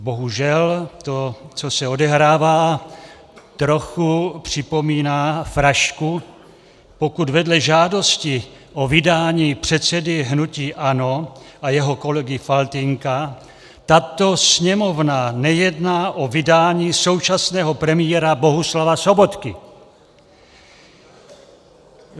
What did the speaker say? Bohužel to, co se odehrává, trochu připomíná frašku, pokud vedle žádosti o vydání předsedy hnutí ANO a jeho kolegy Faltýnka tato Sněmovna nejedná o vydání současného premiéra Bohuslava Sobotky.